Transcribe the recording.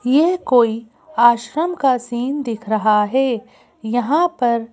यह कोई आश्रम का सीन दिख रहा है यहाँ पर --